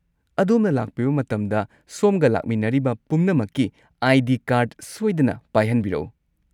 ꯑꯗꯣꯝꯅ ꯂꯥꯛꯄꯤꯕ ꯃꯇꯝꯗ ꯁꯣꯝꯒ ꯂꯥꯛꯃꯤꯟꯅꯔꯤꯕ ꯄꯨꯝꯅꯃꯛꯀꯤ ꯑꯥꯏ.ꯗꯤ. ꯀꯥꯔꯗ ꯁꯣꯏꯗꯅ ꯄꯥꯏꯍꯟꯕꯤꯔꯛꯎ꯫